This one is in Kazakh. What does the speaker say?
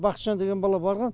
бақытжан деген бала барған